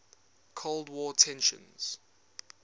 cold war tensions